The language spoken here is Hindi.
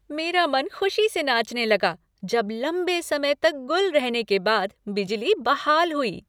मेरा मन खुशी से नाचने लगा जब लंबे समय तक गुल रहने के बाद बिजली बहाल हुई।